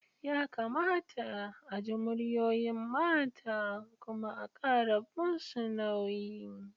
Yakamata a ji muryoyin mata kuma a kara musu nauyi.